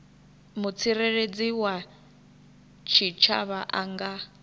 mutsireledzi wa tshitshavha a nga